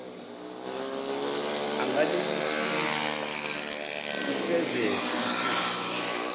anganibusisa lifezeke iphupho